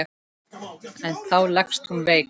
En þá leggst hún veik.